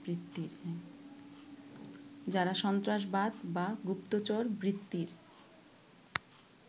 যারা সন্ত্রাসবাদ বা গুপ্তচরবৃত্তির